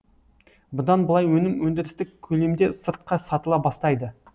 бұдан былай өнім өндірістік көлемде сыртқа сатыла бастайды